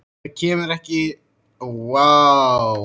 Hann hefur ekki sagt orð um þetta.